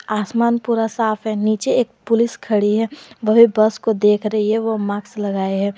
आसमान पूरा साफ है नीचे एक पुलिस खड़ी है वह भीं बस को देख रही है वो मास्क लगाई है।